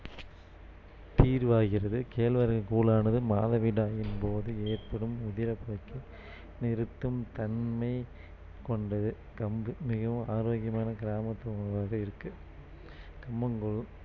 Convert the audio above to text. தீர்வாகிறது கேழ்வரகு கூழானது மாதவிடாயின் போது ஏற்படும் உதிரபோக்கை நிறுத்தும் தன்மை கொண்டது கம்பு மிகவும் ஆரோக்கியமான கிராமத்து உணவாக இருக்கு கம்மங்கூழ்